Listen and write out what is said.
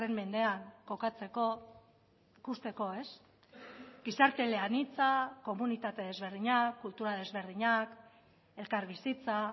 mendean kokatzeko ikusteko ez gizarte eleanitza komunitate ezberdinak kultura desberdinak elkarbizitza